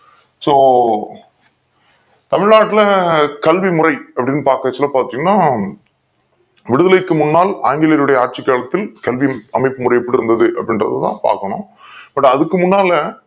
so தமிழ்நாட்டுல கல்வி முறை அப்டின்னு பாக்கச்சள பாத்திங்கனா விடுதலைக்கு முன்னால் ஆங்கிலேருடையே ஆட்சி காலத்தில் கல்வி அமைப்பு முறை எப்டி இருந்தது அப்டி இன்றது தான் பாக்கணும் but அதுக்கு முன்னால